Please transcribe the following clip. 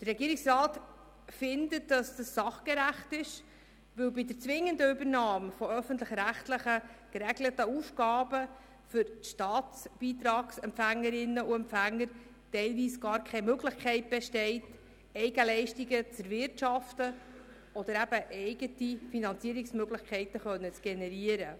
Der Regierungsrat findet dies sachgerecht, weil bei der zwingenden Übernahme öffentlich-rechtlich geregelter Aufgaben für die Staatbeitragsempfängerinnen und -empfänger teilweise gar keine Möglichkeit besteht, Eigenleistungen zu erwirtschaften oder eigene Finanzierungsmöglichkeiten zu generieren.